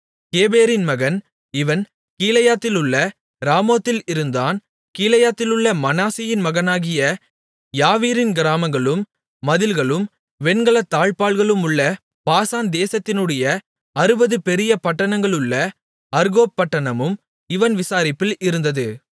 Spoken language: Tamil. கேபேரின் மகன் இவன் கீலேயாத்திலுள்ள ராமோத்தில் இருந்தான் கீலேயாத்திலுள்ள மனாசேயின் மகனாகிய யாவீரின் கிராமங்களும் மதில்களும் வெண்கலத் தாழ்ப்பாள்களுமுள்ள பாசான் தேசத்தினுடைய அறுபது பெரிய பட்டணங்களுள்ள அர்கோப் பட்டணமும் இவன் விசாரிப்பில் இருந்தது